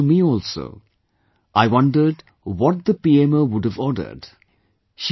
It was news to me also, I wondered what the PMO would have ordered